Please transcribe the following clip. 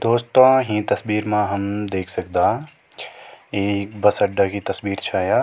दोस्तों हीं तस्वीर मा हम देख सकदा एक बस अड्डा की तस्वीर छा या।